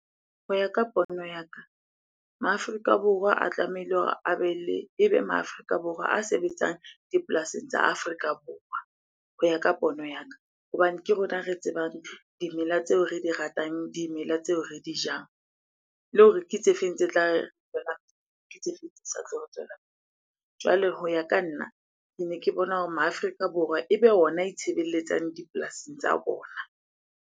Ho ya ka pono ya ka, ma Afrika Borwa a tlamehile hore a be le, ebe ma Afrika Borwa a sebetsang dipolasing tsa Afrika Borwa, ho ya ka pono ya ka. Hobane ke rona re tsebang dimela tseo re di ratang, dimela tseo re di jang. Le hore ke tse feng tse tla ke tse feng tse sa tlo re tswela . Jwale ho ya ka nna, kene ke bona hore ma Afrika Borwa ebe ona itshebeletsang dipolasing tsa bona.